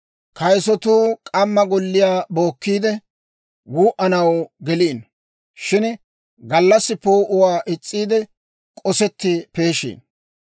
Kayisatuu k'amma golliyaa bookkiide, wuu"anaw geliino; shin gallassi poo'uwaa is's'iide, k'osetti peeshiino.